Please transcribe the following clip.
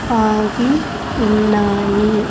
ఆగి ఉన్నాయి.